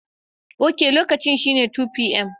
Ok, lokacin shine 2pm.